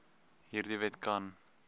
hierdie wet kan